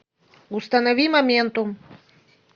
установи моментум